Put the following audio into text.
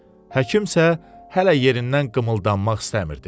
Həkim isə hələ yerindən qımıldanmaq istəmirdi.